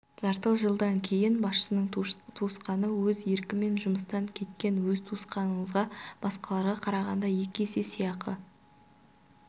жарты жылдан кейін басшының туысқаны өз еркімен жұмыстан кеткен өз туысқаныңызға басқаларға қарағанда екі есе сыйақы